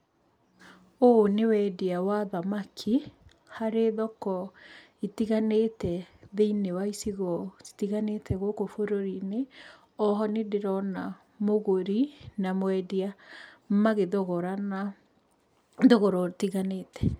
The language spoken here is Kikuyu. Ũũ nĩ wendia wa thamaki harĩ thoko itiganĩte thĩini wa icigoinĩ citiganĩte gũkũ bũrũri-inĩ.O ho nĩ ndĩrona mũgũri na mwendia magĩthogorana thogora ũtiganĩte.